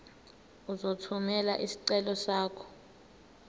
uzothumela isicelo sakho